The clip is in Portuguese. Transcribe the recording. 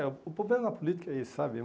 É, o problema na política é esse, sabe?